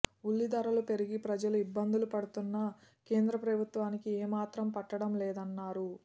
ఉల్లిధరలు పెరిగి ప్రజలు ఇబ్బందులు పడుతున్నా కేంద్ర ప్రభుత్వానికి ఏమాత్రం పట్టడంలేదన్నారు